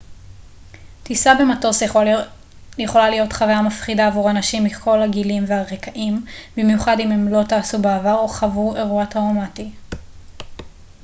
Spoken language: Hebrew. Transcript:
טיסה במטוס יכולה להיות חוויה מפחידה עבור אנשים מכל הגילים והרקעים במיוחד אם הם לא טסו בעבר או חוו אירוע טראומטי